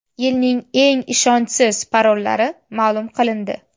Yilning eng ishonchsiz parollari ma’lum qilindi.